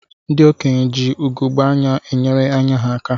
Ndị okenye ji ugegbe anya enyere ányá ha aka.